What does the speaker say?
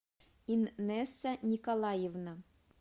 иннеса николаевна